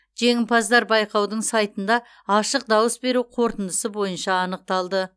жеңімпаздар байқаудың сайтында ашық дауыс беру қорытындысы бойынша анықталды